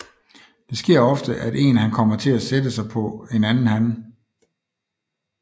Det sker ofte at en han kommer til at sætte sig på en anden han